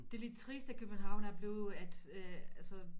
Det er lidt trist at København er blevet at øh altså